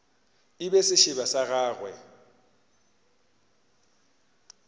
e be sešeba sa gagwe